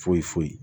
Foyi foyi